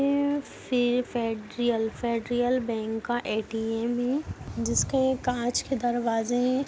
ये फे federal federal bank का ए.टी.एम. है जिसके कांच के दरवाजे है।